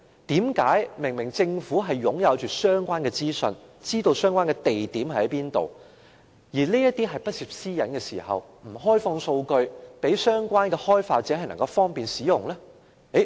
但是，政府明明擁有相關資訊、知道相關飲水機的位置，而這些資料又不涉私隱，為何政府卻沒有開放數據，方便相關開發者使用？